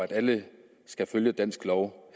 gældende lov